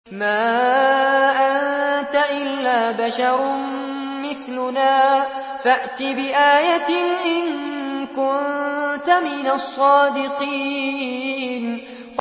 مَا أَنتَ إِلَّا بَشَرٌ مِّثْلُنَا فَأْتِ بِآيَةٍ إِن كُنتَ مِنَ الصَّادِقِينَ